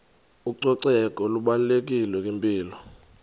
ucoceko lubalulekile kwimpilo